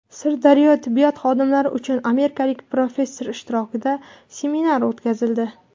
Sirdaryoda tibbiyot xodimlari uchun amerikalik professor ishtirokida seminar o‘tkazildi.